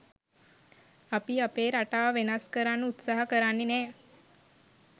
අපි අපේ රටාව වෙනස් කරන්න උත්සාහ කරන්නෙ නැහැ